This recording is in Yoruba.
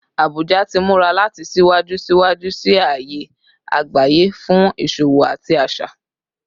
Abuja ti mura lati siwaju siwaju si aaye agbaye fun iṣowo ati aṣa